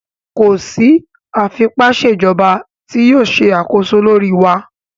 Ko si afipaṣejọba ti yoo ṣe akoso lori wa!